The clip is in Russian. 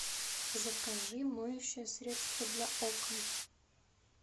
закажи моющее средство для окон